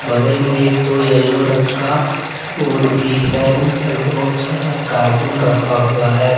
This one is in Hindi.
बगल में एक ठो येलो रंग का बोर्ड भी है ऊपर बहुत सारा कार्टून रखा हुआ है।